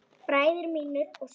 Bræður mínir og systur.